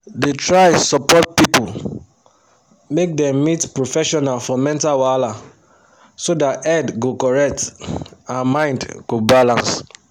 da try support people make dem meet professional for mental wahala so that head go correct and mind go balance